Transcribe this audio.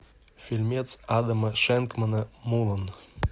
фильмец адама шенкмана мулан